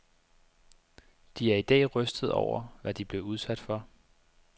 De er i dag rystede over, hvad de blev udsat for.